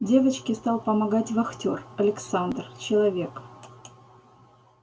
девочке стал помогать вахтёр александр человек